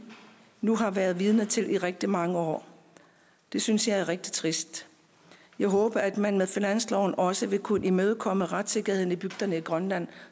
nu har været vidner til i rigtig mange år det synes jeg er rigtig trist jeg håber at man med finansloven også vil kunne imødekomme retssikkerhed i bygderne i grønland